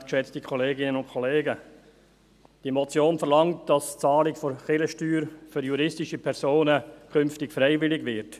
Diese Motion verlangt, dass die Bezahlung der Kirchensteuer für juristische Personen künftig freiwillig wird.